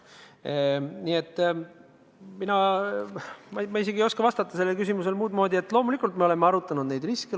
Nii et ma ei oska vastata sellele küsimusele muudmoodi, kui et loomulikult me oleme arutanud neid riske.